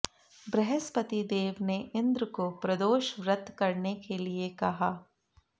बृहस्पति देव ने इंद्र को प्रदोष व्रत करने के लिए कहा